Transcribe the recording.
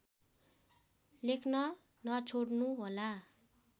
लेख्न नछोड्नुहोला